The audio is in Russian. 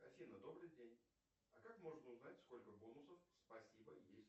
афина добрый день а как можно узнать сколько бонусов спасибо есть